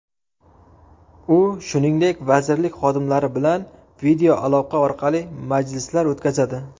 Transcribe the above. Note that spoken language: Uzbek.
U, shuningdek, vazirlik xodimlari bilan videoaloqa orqali majlislar o‘tkazadi.